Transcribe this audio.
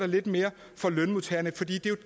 lidt mere for lønmodtagerne for det